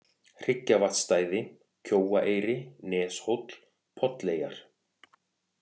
Hryggjavatnsstæði, Kjóaeyri, Neshóll, Polleyjar